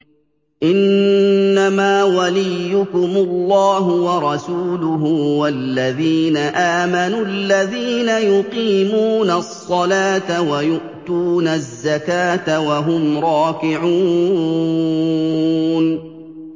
إِنَّمَا وَلِيُّكُمُ اللَّهُ وَرَسُولُهُ وَالَّذِينَ آمَنُوا الَّذِينَ يُقِيمُونَ الصَّلَاةَ وَيُؤْتُونَ الزَّكَاةَ وَهُمْ رَاكِعُونَ